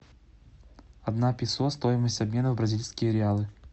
одна песо стоимость обмена в бразильские реалы